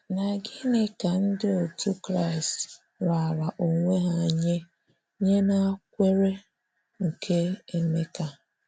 Na gịnị ka Ndị otú Kraịst raara onwe ha nye nye na kwenyere nke Emeka?